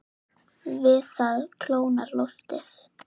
Við það kólnar loftið.